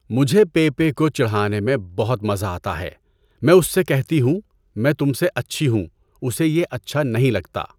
مجھے پے پے کو چڑانے میں بہت مزہ آتا ہے۔ میں اس سے کہتی ہوں، میں تم سے اچھی ہوں، اسے یہ اچھا نہیں لگتا۔